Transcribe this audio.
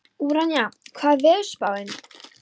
Úranía, hvernig er veðurspáin?